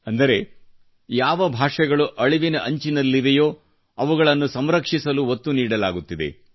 ಅಂದರೆ ಯಾವ ಭಾಷೆಗಳು ಅಳಿವಿನಂಚಿನಲ್ಲಿವೆಯೋ ಅವುಗಳನ್ನು ಸಂರಕ್ಷಿಸಲು ಒತ್ತು ನೀಡಲಾಗುತ್ತಿದೆ